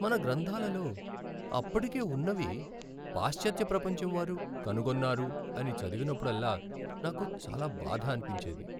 మన గ్రంథాలలో అప్పటికే ఉన్నవి పాశ్చాత్య ప్రపంచంవారు "కనుగొన్నారు" అని చదివినప్పుడల్లా నాకు చాలా బాధ అనిపించేది.